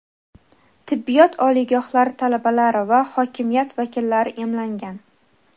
tibbiyot oliygohlari talabalari va hokimiyat vakillari emlangan.